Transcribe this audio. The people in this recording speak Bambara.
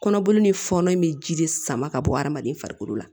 Kɔnɔboli ni fɔnɔ in bɛ ji de sama ka bɔ hadamaden farikolo la